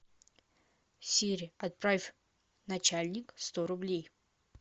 сири отправь начальник сто рублей